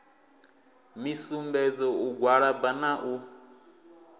misumbedzo u gwalaba na u